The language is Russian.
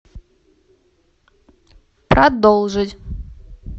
продолжить